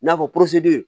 I n'a fɔ